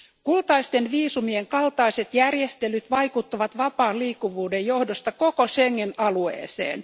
Kultaisten viisumien kaltaiset järjestelyt vaikuttavat vapaan liikkuvuuden johdosta koko Schengen alueeseen.